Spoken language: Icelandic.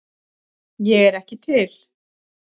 Ég er ekki til